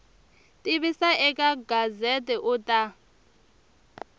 tivisa eka gazette u ta